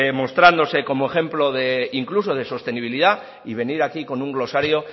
mostrándose como ejemplo incluso de sostenibilidad y venir aquí con un glosario